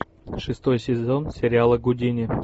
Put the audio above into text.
шестой сезон сериала гудини